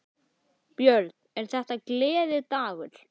Björn: Er þetta gleðidagur?